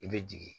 I bɛ jigin